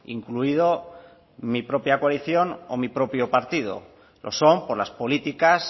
incluido mi propia coalición o mi propio partido lo son por las políticas